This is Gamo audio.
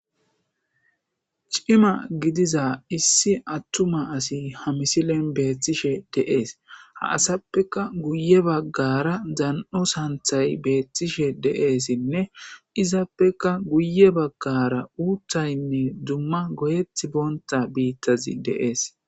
Cima gidiza issi attuma asi ha misilen beethtishe deees ha asappeka guye baggara dan7o santhay beethtishe de7eessinne izappeka guye baggara uuthaynne dumma goyet boonta biittazi deees.